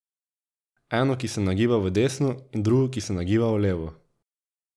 Eno, ki se nagiba v desno, in drugo, ki se nagiba v levo.